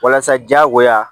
Walasa diyagoya